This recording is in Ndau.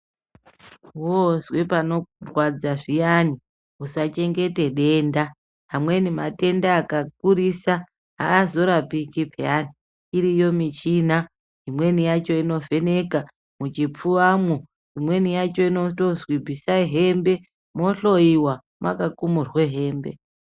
Woozwe panorwadza zviyani usachengeta denda amweni matenda akakurisa aazorapiki peyani, iriyo michina imweni yacho inovheneka muchipfuvamwo imweni yacho inotozwi bvisai hembe mwohloiwa mwakakumurwa hembe.